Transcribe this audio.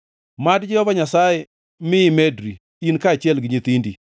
Mad Jehova Nyasaye mi imedri, in kaachiel gi nyithindi.